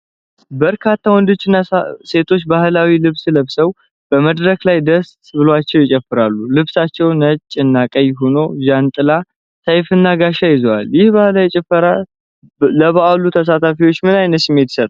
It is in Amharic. በርካታ ወንዶችና ሴቶች ባህላዊ ልብስ ለብሰው በመድረክ ላይ ደስ ብሏቸው ይጨፍራሉ። ልብሳቸው ነጭና ቀይ ሆኖ ዣንጥላ፣ ሰይፍና ጋሻ ይዘዋል። ይህ ባህላዊ ጭፈራ ለበዓሉ ተሳታፊዎች ምን አይነት ስሜት ይሰጣል?